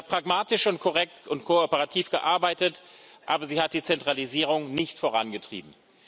Sie hat pragmatisch und korrekt und kooperativ gearbeitet, aber sie hat die Zentralisierung nicht vorangetrieben.